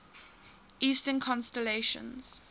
eastern constellations